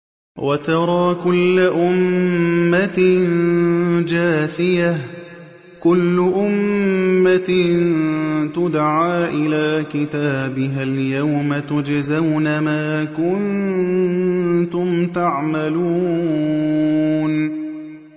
وَتَرَىٰ كُلَّ أُمَّةٍ جَاثِيَةً ۚ كُلُّ أُمَّةٍ تُدْعَىٰ إِلَىٰ كِتَابِهَا الْيَوْمَ تُجْزَوْنَ مَا كُنتُمْ تَعْمَلُونَ